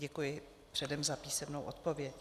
Děkuji předem za písemnou odpověď.